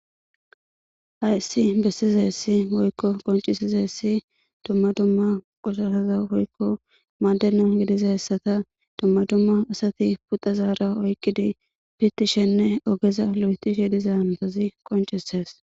hayesi bessizeessi woykko qoncisizeessi dumma dumma qosasaza woykko maadenan gidiza hessata dumma dumma asati puxa zaara oykkidi pitishenne ogeza lo7etishe diza antozi qoncises